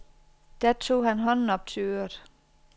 Da tog han hånden op til øret.